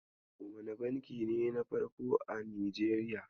Wane banki ne na farko a Nijeriya?